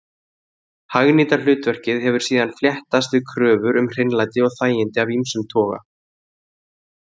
Hagnýta hlutverkið hefur síðan fléttast við kröfur um hreinlæti og þægindi af ýmsum toga.